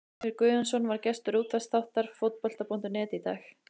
Heimir Guðjónsson var gestur útvarpsþáttar Fótbolta.net í dag.